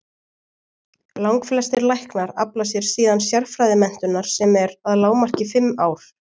Langflestir læknar afla sér síðan sérfræðimenntunar sem er að lágmarki fimm ár.